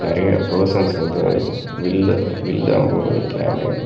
நெறைய பெர்சன்ஸ் வந்து வில்லு வில்லு அம்போடு நிக்கறாங்க.